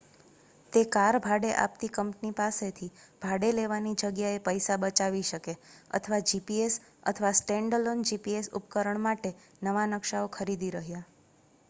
તે કાર ભાડે આપતી કંપની પાસેથી ભાડે લેવાની જગ્યાએ પૈસા બચાવી શકે અથવા જીપીએસ અથવા સ્ટેન્ડઅલોન જીપીએસ ઉપકરણ માટે નવા નકશાઓ ખરીદી રહ્યા